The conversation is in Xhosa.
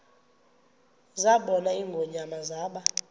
zabona ingonyama zaba